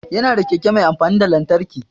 Ya na da keke mai amfani da lantarki